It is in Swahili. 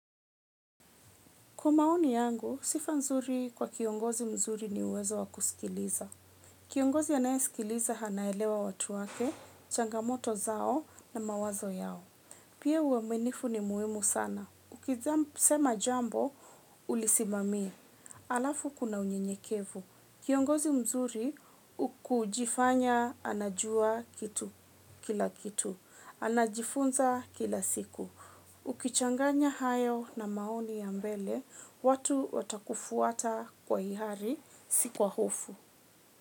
Kwa maoni yangu, sifa nzuri kwa kiongozi mzuri ni uwezo wa kusikiliza. Kiongozi anayesikiliza anaelewa watu wake, changamoto zao na mawazo yao. Pia uaminifu ni muhimu sana. Ukisema jambo, ulisimamie. Alafu kuna unyenyekevu. Kiongozi mzuri huku jifanya anajua kitu kila kitu. Anajifunza kila siku. Ukichanganya hayo na maoni ya mbele, watu watakufuata kwa ihari, sikwa hofu.